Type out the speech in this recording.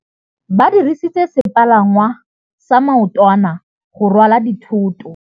Ba dirisitse sepalangwasa maotwana go rwala dithôtô.